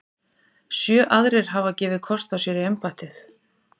Sjö aðrir hafa gefið kost á sér í embættið.